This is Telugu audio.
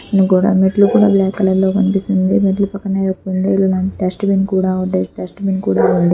గోడ మెట్లు కూడా బ్లాక్ కలర్ లో కనిపిస్తుంది. మెట్లు పక్కన ఏవో కుందేలు లాంటి డస్ట్ బిన్ కూడా డ--డస్ట్ బిన్ కూడా ఉంది.